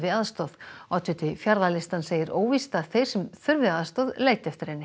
aðstoð oddviti Fjarðalistans segir óvíst að þeir sem þurfi aðstoð leiti eftir henni